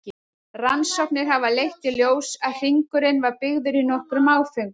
Rannsóknir hafa leitt í ljós að hringurinn var byggður í nokkrum áföngum.